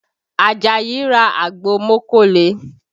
Àjàyí ra àgbo mókóle